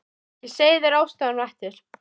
Ég segi þér ástæðuna á eftir